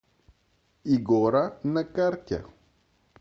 игора на карте